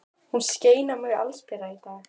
Hún skein á mig allsbera í dag.